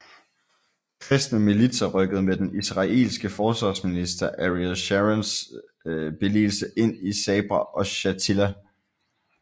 Kristne militser rykkede med den israelske forsvarsminister Ariel Sharons billigelse ind i Sabra og Shatila